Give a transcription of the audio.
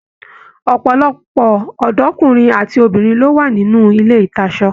Ọpọlọpọ ọdọ ọkunrin àti obìnrin ló wà nínú ilé ìtasọ̀.